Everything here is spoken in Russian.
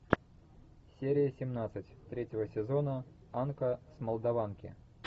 серия семнадцать третьего сезона анка с молдаванки